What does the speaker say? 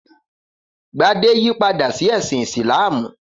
Gbadé yípadà sí ẹ̀sìn Ìsìlámù?